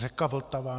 Řeka Vltava.